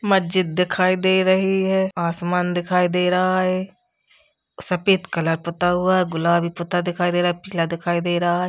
मस्जिद दिखाई दे रही है। आसमान दिखाई दे रहा है। सफेद कलर पूता हुआ है। गुलाबी पूता दिखाई दे रहा पीला दिखाई दे रहा है।